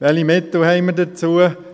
Welche Mittel haben wir dazu?